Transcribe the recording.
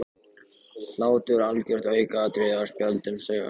Hlátur algjört aukaatriði á spjöldum sögunnar.